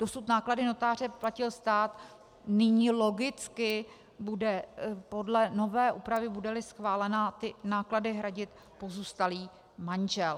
Dosud náklady notáře platil stát, nyní logicky bude podle nové úpravy, bude-li schválena, náklady hradit pozůstalý manžel.